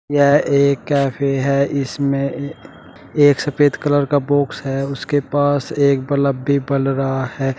यह एक कैफे हैं इसमें एक सफेद कलर का बॉक्स है उसके पास एक बल्ब भी बल रहा है।